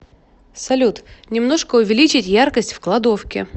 салют немножко увеличить яркость в кладовке